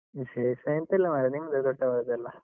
ವಿಶೇಷ ಎಂಥ ಇಲ್ಲ ಮಾರ್ರೆ, ನಿಮ್ದೇ ದೊಡ್ಡವರದೆಲ್ಲಾ.